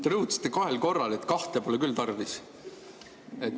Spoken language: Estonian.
Te rõhutasite kahel korral, et kahte pole küll tarvis.